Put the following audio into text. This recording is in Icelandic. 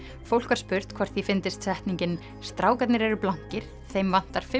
fólk var spurt hvort því fyndist setningin strákarnir eru blankir þeim vantar fimm